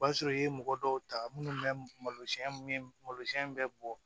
O b'a sɔrɔ i ye mɔgɔ dɔw ta minnu bɛ malosiɲɛ malosiɲɛ in bɛɛ bɔ